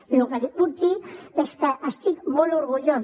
i el que li puc dir és que n’estic molt orgullós